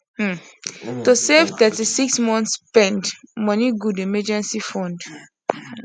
um to save 36 months spend money good emergency fund